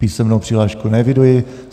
Písemnou přihlášku neeviduji.